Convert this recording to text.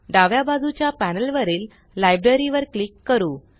डाव्या बाजूच्या पॅनल वरील लायब्ररी लाइब्ररी वर क्लिक करू